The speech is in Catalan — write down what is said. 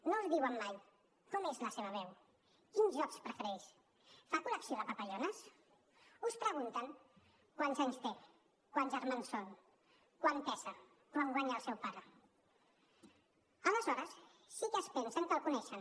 no us diuen mai com és la seva veu quins jocs prefereix fa col·lecció de papallones us pregunten quants anys té quants germans són quant pesa quant guanya el seu pare aleshores sí que es pensen que el coneixen